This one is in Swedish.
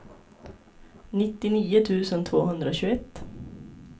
nittionio tusen tvåhundratjugoett